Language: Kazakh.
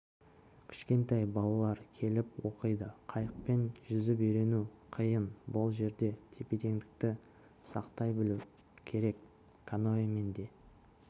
кішкентай балалар келіп оқиды қайықпен жүзіп үйрену қиын бұл жерде тепе-теңдікті сақтай білу керек каноэмен де